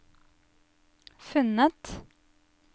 funnet